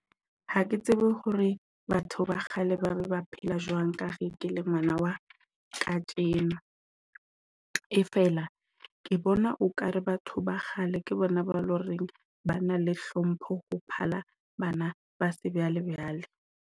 Ha ke tsebe hore batho ba kgale ba re ba phela jwang ka ge ke le ngwana wa kajeno. E fela ke bona okare batho ba kgale ke bona ba loreng ba na le hlompho ho phala bana ba se bjale bjale.